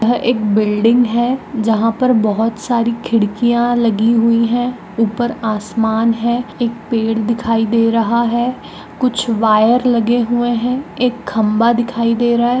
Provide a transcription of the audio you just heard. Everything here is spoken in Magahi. यह एक बिल्डिंग है जहां पर बहुत सारी खिड़कियां लगी हुई हैं। ऊपर आसमान है। एक पेड़ दिखायी दे रहा है। कुछ वायर लगे हुए है। एक खंभा दिखाई दे रहा है।